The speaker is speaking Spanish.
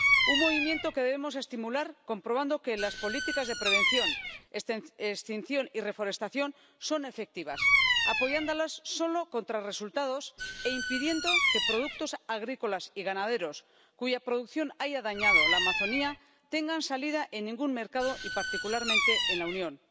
Un movimiento que debemos estimular comprobando que las políticas de prevención, extinción y reforestación son efectivas, apoyándolas solo contra resultados e impidiendo que productos agrícolas y ganaderos cuya producción haya dañado la Amazonia, tengan salida en ningún mercado y particularmente en la Unión.